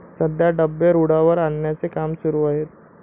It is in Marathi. सध्या डबे रुळावर आणण्याचे काम सुरु आहे.